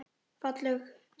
Fallegt haust.